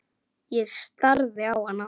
Ég starði á hana.